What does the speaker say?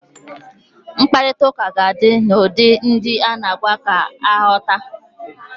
Mkparitauka ga di n'ụdị ndi a na agwa ga aghota